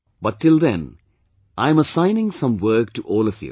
But till then I am assigning some work to all of you